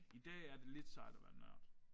I dag er det lidt sejt at være en nørd